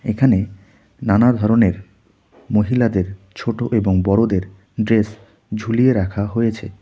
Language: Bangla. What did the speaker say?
এখানে নানা ধরনের মহিলাদের ছোট এবং বড়দের ড্রেস ঝুলিয়ে রাখা হয়েছে.